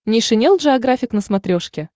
нейшенел джеографик на смотрешке